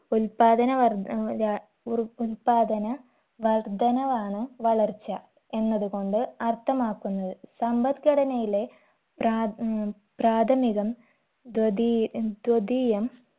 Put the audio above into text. ഉല്പാദന വർധനവ്‌ ര ഉർ ഉല്പാദന വർധനവാണ് വളർച്ച എന്നത് കൊണ്ട് അർത്ഥമാക്കുന്നത് സമ്പദ്ഘടനയിലെ പ്രാദ് ഉം പ്രാഥമികം ധ്വദീ ധ്വദീയം